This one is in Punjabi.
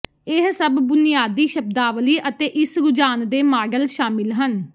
ਇਹ ਸਭ ਬੁਨਿਆਦੀ ਸ਼ਬਦਾਵਲੀ ਅਤੇ ਇਸ ਰੁਝਾਨ ਦੇ ਮਾਡਲ ਸ਼ਾਮਿਲ ਹਨ